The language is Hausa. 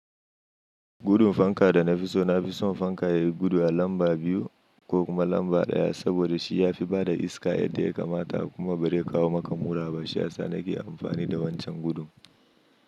Gudun fanka da na fi so, na fi son fanka yayi gudu a lamba biyu ko kuma lamba ɗaya saboda shi ya fi bada iska yadda ya kamata kuma bari ya kawo maka muraba. Shiya sa nake amfani da wancan gudun.